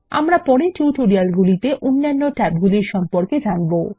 আমরা পরের টিউটোরিয়ালগুলিতে অন্যান্য ট্যাবগুলির সম্পর্কে জানবো